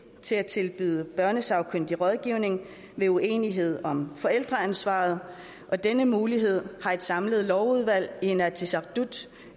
til at tilbyde børnesagkyndig rådgivning ved uenighed om forældreansvar og denne mulighed har et samlet lovudvalg i inatsisartut